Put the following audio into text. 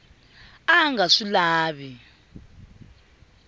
a a nga swi lavi